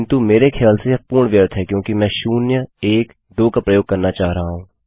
किन्तु मेरे ख्याल से यह पूर्ण व्यर्थ है क्योंकि मैं शून्य एक दो का प्रयोग करना चाह रहा हूँ